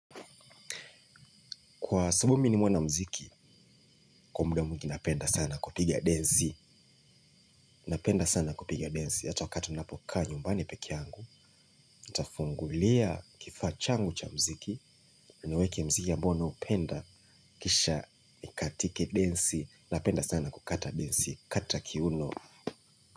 Kwa sabu mi ni mwanamziki, kwa muda mwingi napenda sana kupiga densi. Napenda sana kupiga densi. Hata wakati napokaa nyumbani peke yangu, nitafungulia kifaa changu cha mziki, ninaweka mziki ambao naupenda kisha nikatike densi. Napenda sana kukata densi. Kata kiuno.